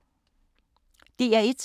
DR1